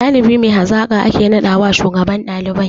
Ɗalibi mai hazaƙa ake naɗawa shugaban ɗalibai